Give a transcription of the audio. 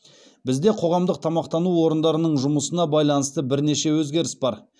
бізде қоғамдық тамақтану орындарының жұмысына байланысты бірнеше өзгеріс бар